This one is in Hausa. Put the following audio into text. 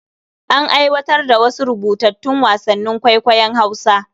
An aiwatar da wasu rubutattun wasannin kwaikwayon Hausa.